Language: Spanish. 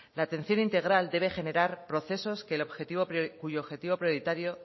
la atención integral debe generar procesos